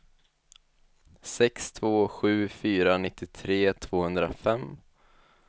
sex två sju fyra nittiotre tvåhundrafem